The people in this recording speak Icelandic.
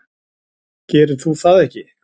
Gerir þú það ekki?